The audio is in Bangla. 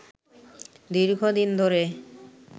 দীর্ঘ দিন ধরে